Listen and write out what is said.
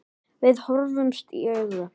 Við horfðumst í augu.